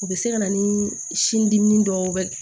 U bɛ se ka na ni sin dimi dɔw